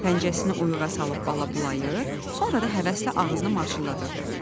Pəncəsini oyuğa salıb bala bulayır, sonra da həvəslə ağzını marçıldadırdı.